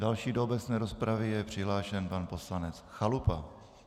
Další do obecné rozpravy je přihlášen pan poslanec Chalupa.